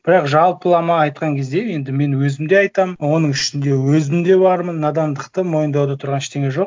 бірақ жалпылама айтқан кезде енді мен өзім де айтамын оның ішінде өзім де бармын надандықты мойындауда тұрған ештеңе жоқ